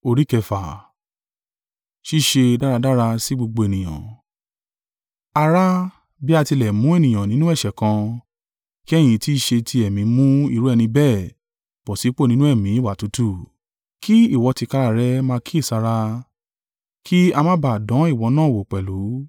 Ará, bí a tilẹ̀ mú ènìyàn nínú ẹ̀ṣẹ̀ kan, kí ẹ̀yin tí í ṣe ti Ẹ̀mí mú irú ẹni bẹ́ẹ̀ bọ̀ sípò nínú ẹ̀mí ìwà tútù; kí ìwọ tìkára rẹ̀ máa kíyèsára, kí a má ba à dán ìwọ náà wò pẹ̀lú.